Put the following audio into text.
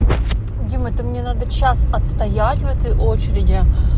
дима это мне надо час отстоять в этой очереди